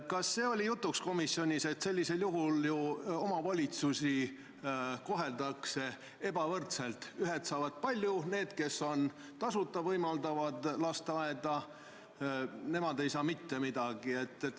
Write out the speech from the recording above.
Kas see oli komisjonis jutuks, et sellisel juhul ju omavalitsusi koheldakse ebavõrdselt: ühed saavad palju, need aga, kes tasuta on lasteaeda võimaldanud, ei saa mitte midagi.